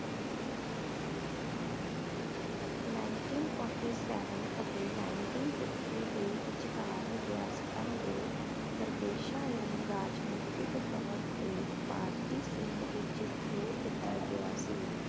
ninteen forty seven ਅਤੇ ninteen fifty ਦੇ ਵਿਚਕਾਰ ਰਿਆਸਤਾਂ ਦੇ ਪ੍ਰਦੇਸ਼ਾਂ ਨੂੰ ਰਾਜਨੀਤਿਕ ਤੌਰ ਤੇ ਭਾਰਤੀ ਸਿੰਘ ਵਿਚ ਜੋੜ ਦਿੱਤਾ ਗਿਆ ਸੀ